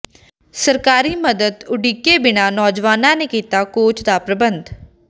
ਸਰਕਾਰੀ ਮਦਦ ਉਡੀਕੇ ਬਿਨਾਂ ਨੌਜਵਾਨਾਂ ਨੇ ਕੀਤਾ ਕੋਚ ਦਾ ਪ੍ਰਬੰਧ